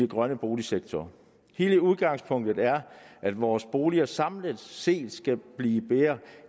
grønne boligsektor hele udgangspunktet er at vores boliger samlet set skal blive mere